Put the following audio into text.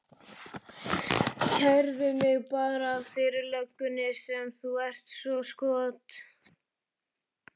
Kærðu mig bara fyrir löggunni sem þú ert svo skot